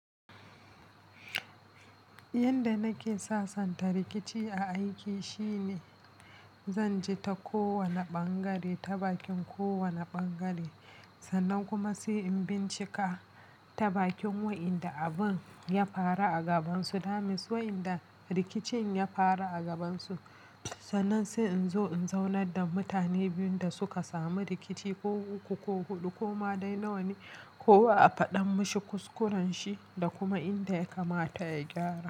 Yanda nake sasanta rikici a aiki shine, zan ji ta kowani bangare, ta bakin kowana bangare sannan kuma sai in bincika ta bakin wa'inda abun ya faru a gabansu, that means wa'inda rikicin ya faru a gabansu, sannan sai in zo in zaunar da mutane biyun da suka samu rikici ko uku ko huɗu ko ma dai nawane, kowa a faɗan mashi kuskurenshi da kuma inda ya kamata ya gyara.